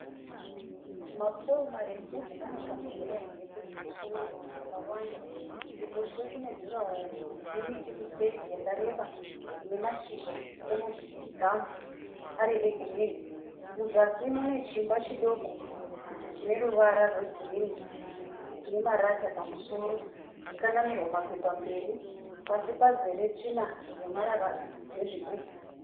Mapouro marefu ane tambo dzemagetsi kumusoro dzakawanda. Kuruboshwe kune juraho nemiti kuseri yakareba ine mashizha emugamu ari egirini, muzasi mune chiimba chidoko chineruvara rwegirini ine marata pamusoro yakanamirwa mapepa mberi. pasi pazere marara nezvigubhu.